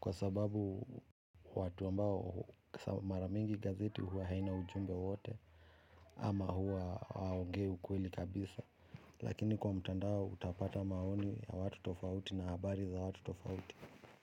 kwa sababu watu ambao kwa sababu mara mingi gazeti huwa haina ujumbe wote ama huwa hawaongei ukweli kabisa lakini kwa mtandao utapata maoni ya watu tofauti na habari za watu tofauti.